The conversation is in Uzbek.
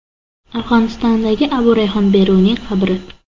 Afg‘onistondagi Abu Rayhon Beruniy qabri.